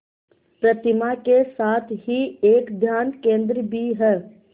प्रतिमा के साथ ही एक ध्यान केंद्र भी है